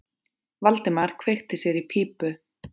Valdimar kveikti sér í pípu.